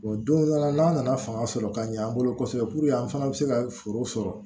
O don dɔ la n'a nana fanga sɔrɔ ka ɲɛ an bolo kosɛbɛ an fana bɛ se ka foro sɔrɔ